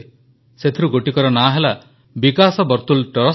ସେଥିରୁ ଗୋଟିକର ନାଁ ହେଲା ବିକାଶ ବର୍ତୁଳ ଟ୍ରଷ୍ଟ